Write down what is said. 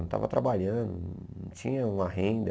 Eu não estava trabalhando, não tinha uma renda.